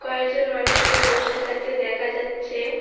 কয়েকজন মানুষকে বসে থাকতে দেখা যাচ্ছে।